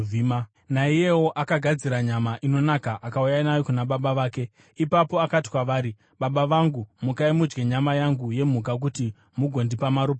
Naiyewo akagadzira nyama inonaka akauya nayo kuna baba vake. Ipapo akati kwavari, “Baba vangu, mukai mudye nyama yangu yemhuka, kuti mugondipa maropafadzo.”